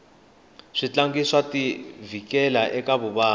switlangi swa ti vhikela eka vuvabyi